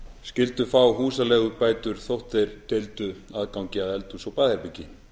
skyldu fá húsaleigubætur þótt þeir deildu aðgangi að eldhúsi og baðherbergi